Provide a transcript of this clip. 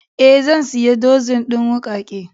Eh zan siya dozin din wuƙake.